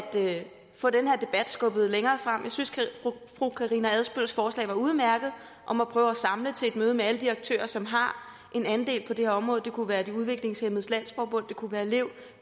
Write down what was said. få den her debat skubbet længere frem jeg synes at fru karina adsbøls forslag var udmærket om at prøve at samle til et møde med alle de aktører som har en andel i det her område det kunne være udviklingshæmmedes landsforbund det kunne være lev